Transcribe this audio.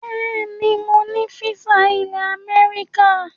Bẹẹ ni mo ní físà ilẹ̀ Amẹ́ríkà